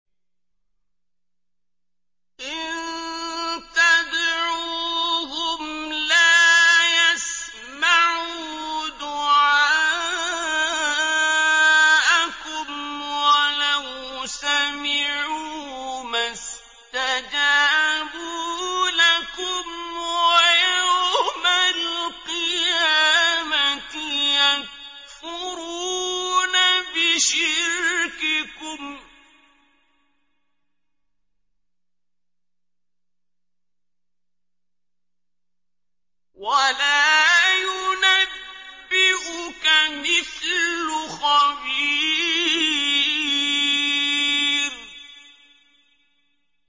إِن تَدْعُوهُمْ لَا يَسْمَعُوا دُعَاءَكُمْ وَلَوْ سَمِعُوا مَا اسْتَجَابُوا لَكُمْ ۖ وَيَوْمَ الْقِيَامَةِ يَكْفُرُونَ بِشِرْكِكُمْ ۚ وَلَا يُنَبِّئُكَ مِثْلُ خَبِيرٍ